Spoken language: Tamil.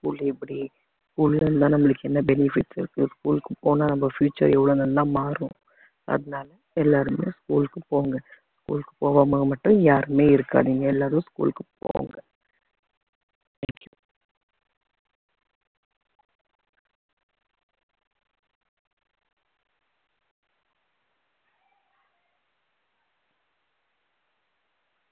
school எப்படி school ல எல்லாம் நம்மளுக்கு என்ன benefits இருக்கு school க்கு போனா நம்ம future எவ்வளவு நல்லா மாறும் அதனால எல்லாருமே school க்கு போங்க school க்கு போகாம மட்டும் யாருமே இருக்காதீங்க எல்லாரும் school க்கு போங்க thank you